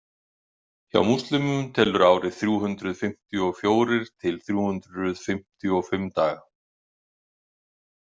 Hjá múslimum telur árið þrjú hundruð fimmtíu og fjórir til þrjú hundruð fimmtíu og fimm daga.